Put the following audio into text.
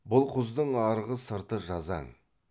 бұл құздың арғы сырты жазаң